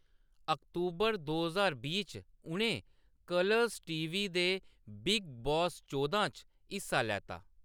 अक्तूबर दो ज्हार बीह् च, उʼनें कलर्स टी.वी. दे बिग बॉस-चौदां च हिस्सा लैता।